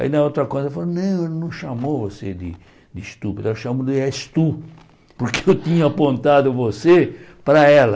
Aí na outra coisa ela falou, não, ela não chamou você de de estúpido, ela chamou de es tú, porque eu tinha apontado você para ela.